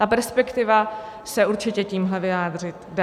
A perspektiva se určitě tímhle vyjádřit dá.